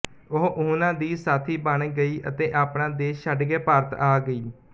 ਉਹ ਉਹਨਾਂ ਦੀ ਸਾਥੀ ਬਣ ਗਈ ਅਤੇ ਆਪਣਾ ਦੇਸ਼ ਛੱਡਕੇ ਭਾਰਤ ਆ ਗਈ